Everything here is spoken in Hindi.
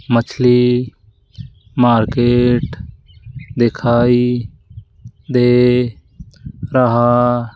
मछली मार्केट दिखाई दे रहा --